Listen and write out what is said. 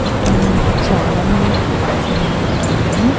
ఇక్కడ మనకి చాలా మంది కనిపిస్తూ ఉన్నారండి.